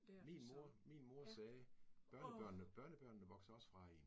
Min mor min mor sagde børnebørnene børnebørnene vokser også fra én